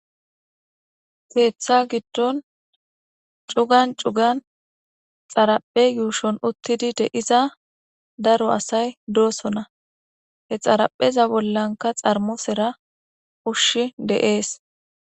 Keetha giddon cugan cugan xaraphe yuushon uttidi de iza daro asay doosona he xarapheza bollanka xarmosera ushshi deees